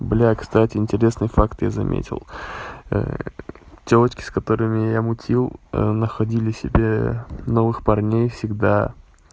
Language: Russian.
бля кстати интересный факт я заметил тёлочки с которыми я мутил находили себе новых парней всегда